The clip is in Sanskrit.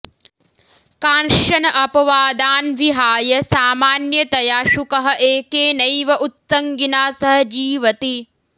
काँश्चन अपवादान् विहाय सामान्यतया शुकः एकेनैव उत्सङ्गिना सह जीवति